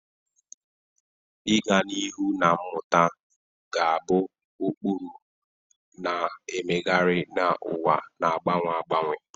Ịga n'ihu na mmụta ga-abụ ụkpụrụ, na-emegharị na ụwa na-agbanwe agbanwe.